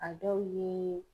A dɔw ye